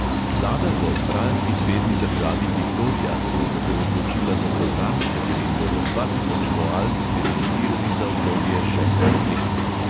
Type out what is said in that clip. Vlada v avstralski zvezni državi viktorija se je zato odločila za program, s katerim bodo dva tisoč koal sterilizirali za obdobje šestih let.